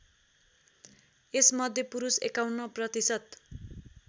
यसमध्ये पुरुष ५१ प्रतिशत